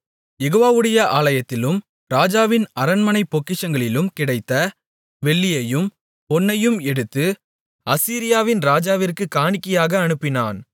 யெகோவாவுடைய ஆலயத்திலும் ராஜாவின் அரண்மனைப் பொக்கிஷங்களிலும் கிடைத்த வெள்ளியையும் பொன்னையும் எடுத்து அசீரியாவின் ராஜாவிற்குக் காணிக்கையாக அனுப்பினான்